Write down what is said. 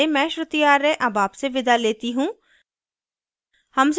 यह स्क्रिप्ट प्रभाकर द्वारा अनुवादित है आई आई टी बॉम्बे से मैं श्रुति आर्य अब आपसे विदा लेती हूँ